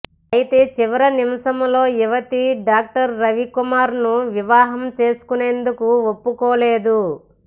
అయితే చివరి నిమిషంలో యువతి డాక్టర్ రవికుమార్ ను వివాహం చేసుకొనేందుకు ఒప్పుకోలేదు